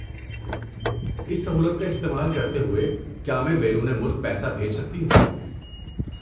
اس سہولت کا استعمال کرتے ہوئے کیا میں بیرون ملک پیسہ بھیج سکتی ہوں؟